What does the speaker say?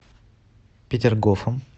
петергофом